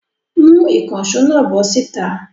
Mú ìkànṣó náà bọ́ síta!